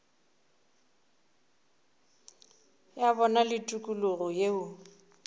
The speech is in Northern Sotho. ya bona le tikologo yeo